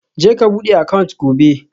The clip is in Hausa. Je ka bude account gobe